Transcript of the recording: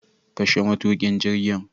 Kashe matukin jirgin